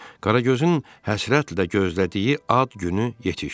Qaragözün həsrətlə gözlədiyi ad günü yetişdi.